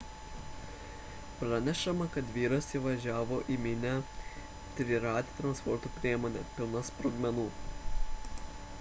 pranešama kad vyras įvažiavo į minią trirate transporto priemone pilna sprogmenų